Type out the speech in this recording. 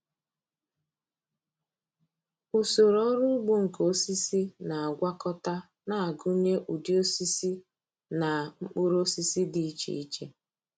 Usoro ọrụ ugbo nke osisi na-agwakọta na-agụnye ụdị osisi na mkpụrụ osisi dị iche iche.